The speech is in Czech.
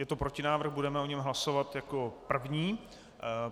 Je to protinávrh, budeme o něm hlasovat jako první.